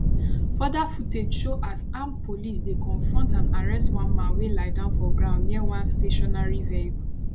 further footage show as armed police dey confront and arrest one man wey lie down for ground near one stationary vehicle